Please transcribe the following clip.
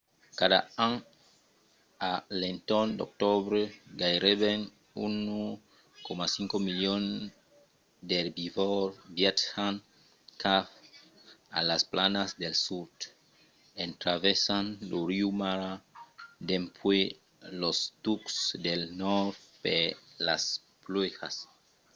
cada an a l’entorn d’octobre gaireben 1,5 milion d’erbivòrs viatjan cap a las planas del sud en traversant lo riu mara dempuèi los tucs del nòrd per las pluèjas